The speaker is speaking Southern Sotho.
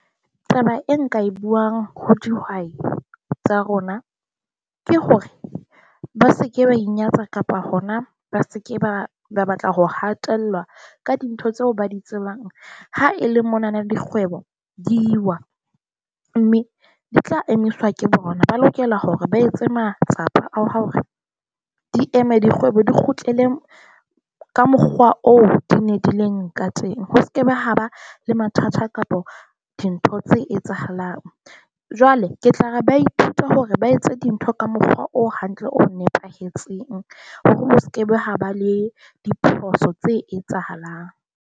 Taba e nka e buang ho dihwai tsa rona ke hore ba se ke ba inyatsa kapa hona ba se ke ba ba batla ho hatellwa ka dintho tseo ba di tsebang. Haele monana dikgwebo di wa, mme di tla emiswa ke bona, ba lokela hore ba etse matsapa a hore di eme dikgwebo di kgutlele ka mokgwa oo di ne di ileng ka teng. Ho se kebe ha ba le mathata kapa dintho tse etsahalang. Jwale ke tla re ba ithuta hore ba etse dintho ka mokgwa o hantle, o nepahetseng hore o sekebe ha ba le diphoso tse etsahalang.